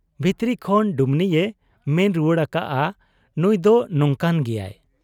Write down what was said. ᱵᱷᱤᱛᱨᱤ ᱠᱷᱚᱱ ᱰᱩᱢᱱᱤᱭᱮ ᱢᱮᱱ ᱨᱩᱣᱟᱹᱲ ᱟᱠᱟᱜ ᱟ 'ᱱᱩᱸᱭᱫᱚ ᱱᱚᱝᱠᱟᱱ ᱜᱮᱭᱟᱭ ᱾